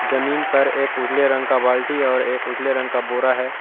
जमीन पर एक उजले रंग का बाल्टी और एक उजले रंग का बोरा है।